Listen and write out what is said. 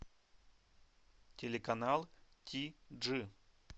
телеканал ти джи